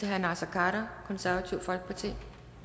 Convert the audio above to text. her tak